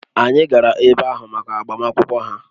Anyị gara ebe ahụ maka agbamakwụkwọ ha